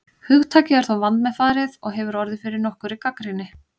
Hugtakið er þó vandmeðfarið og hefur orðið fyrir nokkurri gagnrýni.